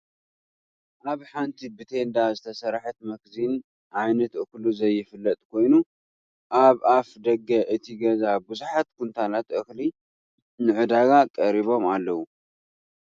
ኣብ ሓንቲ ብቴንዳ ዝተሰርሐት መክዚን ዓይነት እክሉ ዘይፍለጥ ኮይኑ ኣብ ኣፍ ደገ እቲ ገዛ ብዙሓት ኩንታላት እክሊ ንዕዳጋ ቀሪቦም ኣለዉ፡፡